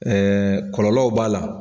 kɔlɔlɔw b'a la.